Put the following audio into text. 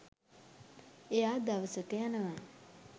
එයා දවසක යනවා